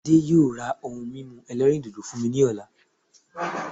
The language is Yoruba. Adé yóò ra ohun mímu ẹlẹ́rìndòdò fún mi ní ọ̀la